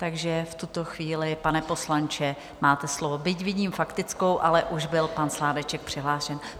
Takže v tuto chvíli, pane poslanče, máte slovo, byť vidím faktickou, ale už byl pan Sládeček přihlášen.